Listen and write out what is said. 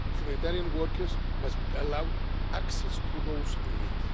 Humanitarian workers must be allowed access to those in need.